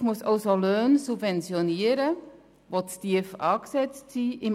Die Sozialhilfe muss also Löhne subventionieren, die im Arbeitsmarkt zu tief angesetzt sind.